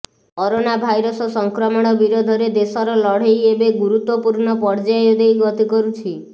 corona virus ସଂକ୍ରମଣ ବିରୋଧରେ ଦେଶର ଲଢେ଼ଇ ଏବେ ଏକ ଗୁରୁତ୍ୱପୂର୍ଣ୍ଣ ପର୍ଯ୍ୟାୟ ଦେଇ ଗତି କରୁଛି